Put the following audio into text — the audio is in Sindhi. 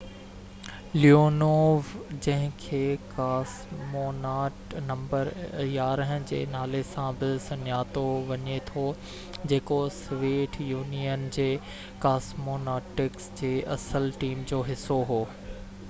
ليونوو جنهن کي ڪاسموناٽ نمبر 11 جي نالي سان بہ سڃاتو وڃي ٿو جيڪو سويت يونين جي ڪاسموناٽس جي اصل ٽيم جو حصو هو